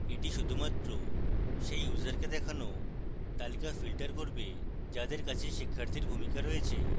এটি শুধুমাত্র সেই ইউসারকে দেখানো তালিকা filter করবে যাদের কাছে শিক্ষার্থীর ভূমিকা রয়েছে